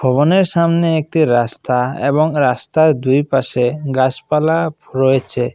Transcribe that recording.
ভবনের সামনে একটি রাস্তা এবং রাস্তায় দুই পাশে গাসপালা ফ রয়েছে।